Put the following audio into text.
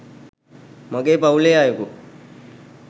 මගේ පවුලේ අයෙකු